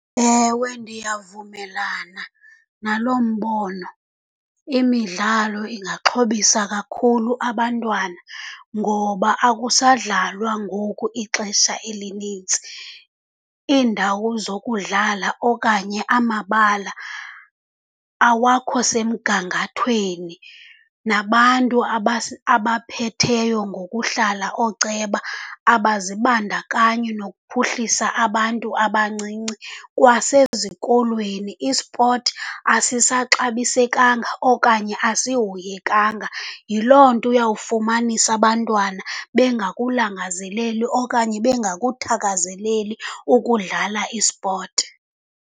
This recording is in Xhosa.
Ewe, ndiyavumelana naloo mbono. Imidlalo ingaxhobisa kakhulu abantwana, ngoba akusadlalwa ngoku ixesha elinintsi. Iindawo zokudlala okanye amabala awakho semgangathweni, nabantu abaphetheyo ngokuhlala, ooceba, abazibandakanyi nokuphuhlisa abantu abancinci. Kwasezikolweni ispoti asisaxabisekanga okanye asihoyekanga, yiloo nto uyawufumanisa abantwana bengakulangazeleli okanye bengakuthakazeleli ukudlala ispoti.